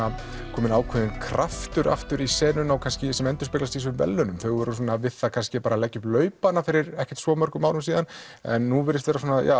kominn ákveðinn kraftur aftur í senuna og kannski sem endurspeglast í þessum verðlaunum þau voru svona við það kannski að leggja upp laupana fyrir ekkert svo mörgum árum síðan en nú virðist vera svona